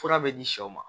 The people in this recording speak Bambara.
Fura bɛ di sɛw ma